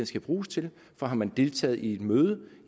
skal bruges til for har man deltaget i et møde